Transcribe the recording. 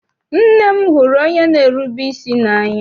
Nne m hụrụ onye n'erube isi n'anya.